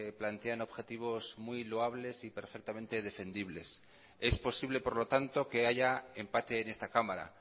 plantean objetivos muy loables y perfectamente defendibles es posible por lo tanto que haya empate en esta cámara